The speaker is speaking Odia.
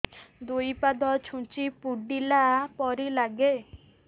ଦୁଇ ପାଦ ଛୁଞ୍ଚି ଫୁଡିଲା ପରି ଲାଗେ